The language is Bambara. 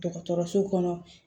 Dɔgɔtɔrɔso kɔnɔ